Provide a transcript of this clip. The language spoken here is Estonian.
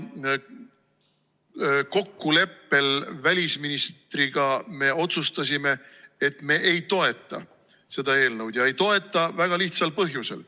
Kokkuleppel välisministriga me otsustasime, et me ei toeta seda eelnõu ja ei toeta väga lihtsal põhjusel.